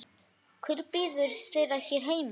Hvað bíður þeirra hér heima?